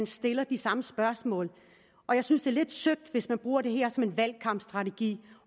stiller de samme spørgsmål og jeg synes det er lidt søgt hvis man bruger det her som en valgkampstrategi